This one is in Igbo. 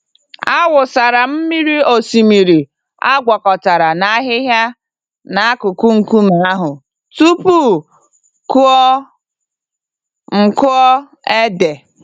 Awụsara m mmiri osimiri agwakọtara na ahịhịa n'akụkụ nkume ahụ tupu m kụọ m kụọ ede.